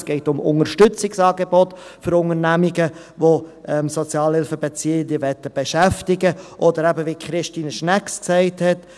Es geht um Unterstützungsangebote für Unternehmungen, welche Sozialhilfebeziehende beschäftigen möchten, oder eben, wie Christine Schnegg gesagt hat.